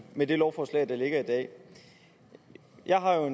med det lovforslag der ligger i dag jeg har jo